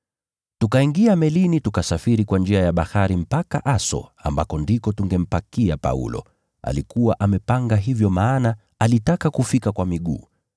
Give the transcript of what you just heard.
Tukatangulia melini tukasafiri mpaka Aso ambako tungempakia Paulo. Alikuwa amepanga hivyo kwa maana alitaka kufika kwa miguu.